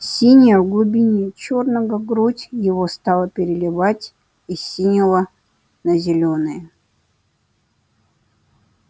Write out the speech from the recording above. синяя в глубине чёрного грудь его стала переливать из синего на зелёный